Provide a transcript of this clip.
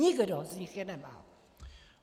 Nikdo z nich je nemá!